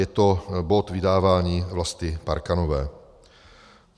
Je to bod vydávání Vlasty Parkanové.